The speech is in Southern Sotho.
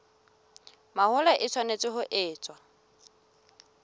mahola e tshwanetse ho etswa